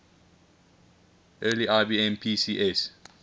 early ibm pcs